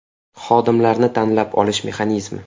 Xodimlarni tanlab olish mexanizmi.